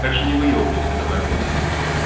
так что не выёбывайся давай влад